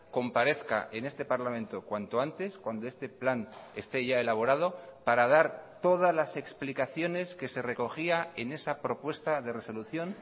comparezca en este parlamento cuanto antes cuando este plan esté ya elaborado para dar todas las explicaciones que se recogía en esa propuesta de resolución